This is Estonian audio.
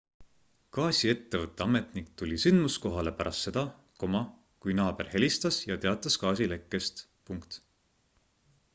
gaasiettevõtte ametnik tuli sündmuskohale pärast seda kui naaber helistas ja teatas gaasilekkest